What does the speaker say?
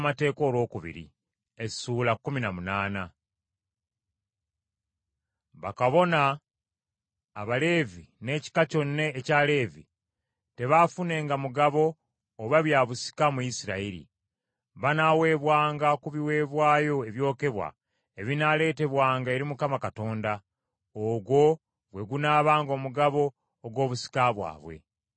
Bakabona, Abaleevi n’ekika kyonna ekya Leevi, tebaafunenga mugabo oba bya busika mu Isirayiri. Banaaweebwanga ku biweebwayo ebyokebwa ebinaaleetebwanga eri Mukama Katonda; ogwo gwe gunaabanga omugabo ogw’obusika bwabwe.